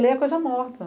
Lei é coisa morta.